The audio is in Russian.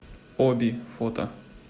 оби фото